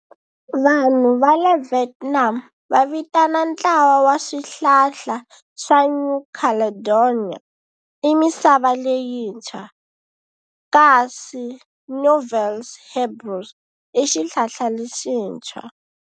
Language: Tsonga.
Vanhu va le Vietnam va vitana ntlawa wa swihlala swa New Caledonia i Misava Leyintshwa kasi Nouvelles-Hébrides i Xihlala Lexintshwa.